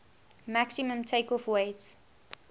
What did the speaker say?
maximum takeoff weight